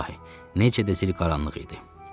İlahi, necə də zil qaranlıq idi.